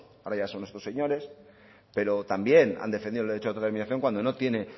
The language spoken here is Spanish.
ahora ya son estos señores pero también han defendido el derecho de autodeterminación cuando no tiene